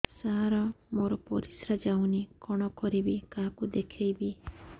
ସାର ମୋର ପରିସ୍ରା ଯାଉନି କଣ କରିବି କାହାକୁ ଦେଖେଇବି